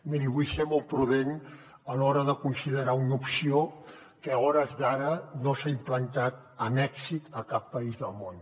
miri vull ser molt prudent a l’hora de considerar una opció que a hores d’ara no s’ha implantat amb èxit a cap país del món